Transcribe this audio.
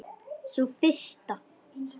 Sú fyrsta?